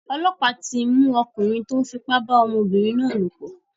Ọlọ́pàá tí mú ọkùnrin tó ń fi ipá ba ọmọbìnrin náà lòpọ̀.